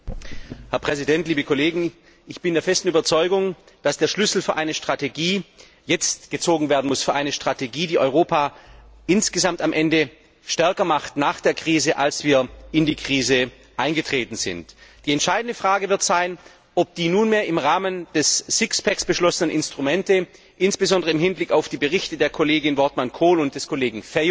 Herr Präsident, liebe Kolleginnen und Kollegen! Ich bin der festen Überzeugung, dass die Schlüsse für eine Strategie jetzt gezogen werden müssen, eine Strategie, die Europa insgesamt am Ende, nach der Krise, stärker macht, als bevor wir in die Krise eingetreten sind. Die entscheidende Frage wird sein, ob die nunmehr im Rahmen des Sixpacks beschlossenen Instrumente insbesondere im Hinblick auf die Berichte der Kollegin Wortmann Kool und des Kollegen Feio